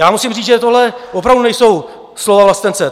Já musím říct, že tohle opravdu nejsou slova vlastence.